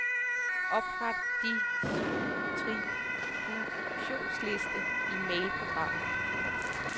Opret distributionsliste i mailprogrammet.